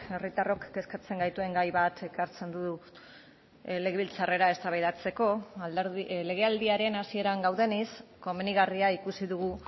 herritarrok kezkatzen gaituen gai bat ekartzen du legebiltzarrera eztabaidatzeko legealdiaren hasieran gaudenez komenigarria ikusi dugu